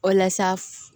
Walasa